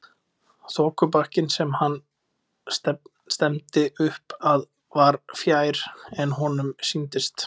Þokubakkinn sem hann stefndi upp að var fjær en honum sýndist.